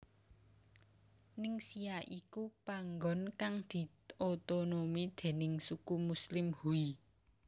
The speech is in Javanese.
Ningxia iku panggon kang diotonomi déning suku muslim Hui